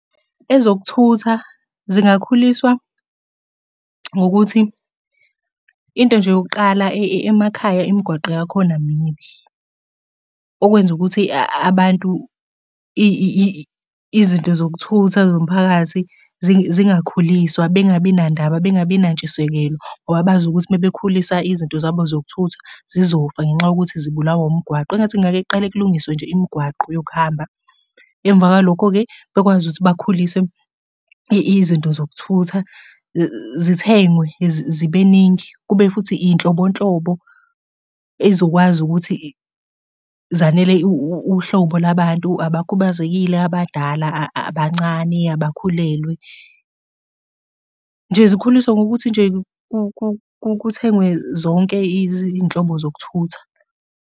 Ezokuthutha zingakhuliswa ngokuthi into nje yokuqala emakhaya imigwaqo yakhona mibi, okwenza ukuthi abantu izinto zokuthutha zomphakathi zingakhuliswa bengabi nandaba bengabi nantshisekelo ngoba bazi ukuthi uma bekhulisa izinto zabo zokuthutha zizofa ngenxa yokuthi zibulawa umgwaqo. Engathi ngake kuqale kulungiswe nje imigwaqo yokuhamba. Emva kwalokho-ke bekwazi ukuthi bakhulise izinto zokuthutha, zithengwe zibe ningi. Kube futhi iy'nhlobonhlobo ey'zokwazi ukuthi zanele uhlobo lwabantu, abakhubazekile, abadala, abancane, abakhulelwe. Nje zikhuliswe ngokuthi nje kuthengwe zonke iy'nhlobo zokuthutha.